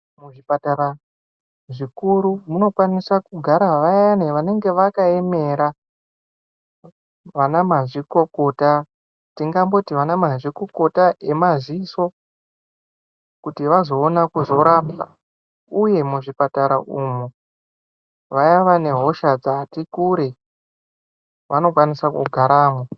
Muzvipatara zvikuru kunokwanisa kugara vayani vanenge vakaemera vana mazvikokota tingamboti ana nazvikokota emaziso. Kuti vazoona kuzorapwa, uye muzvipatara umu vaya vane hosha dzati kure vanokwanisa kugaramwo.